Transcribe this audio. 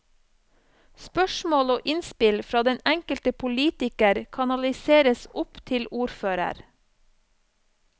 Spørsmål og innspill fra den enkelte politiker kanaliseres opp til ordfører.